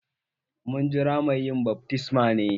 Mu jira mai yin baftisman ne?